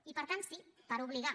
i per tant sí per obligar